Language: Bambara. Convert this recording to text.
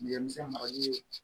Dɛmɛsɛn marali ye